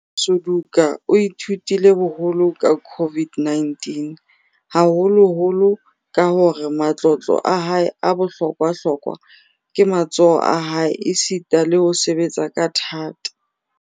Suduka o ithutile boholo ka COVID-19, haholoholo ka hore matlotlo a hae a bohlokwa-hlokwa ke matsoho a hae esita le ho sebetsa ka thata.